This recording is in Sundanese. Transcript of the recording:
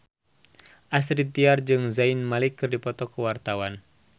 Astrid Tiar jeung Zayn Malik keur dipoto ku wartawan